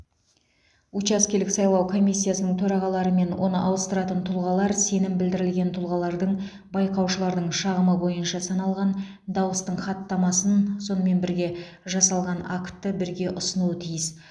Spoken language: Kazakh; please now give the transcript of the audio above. учаскелік сайлау комиссиясының төрағалары мен оны ауыстыратын тұлғалар сенім білдірілген тұлғалардың байқаушылардың шағымы бойынша саналған дауыстың хаттамасын онымен бірге жасалған актты бірге ұсынуы тиіс